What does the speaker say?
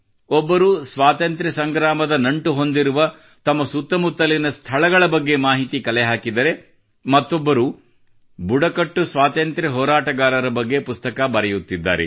ಒಬ್ಬರು ಸ್ವಾತಂತ್ರ್ಯ ಸಂಗ್ರಾಮದ ನಂಟು ಹೊಂದಿರುವ ತಮ್ಮ ಸುತ್ತಮುತ್ತಲಿನ ಸ್ಥಳಗಳ ಬಗ್ಗೆ ಮಾಹಿತಿ ಕಲೆ ಹಾಕಿದರೆ ಮತ್ತೊಬ್ಬರು ಬುಡಕಟ್ಟು ಸ್ವಾತಂತ್ರ್ಯ ಹೋರಾಟಗಾರರ ಬಗ್ಗೆ ಪುಸ್ತಕ ಬರೆಯುತ್ತಿದ್ದಾರೆ